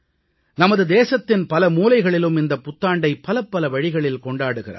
நமது தேசத்தின் பல மூலைகளிலும் இந்தப் புத்தாண்டை பலப்பல வழிகளில் கொண்டாடுகிறார்கள்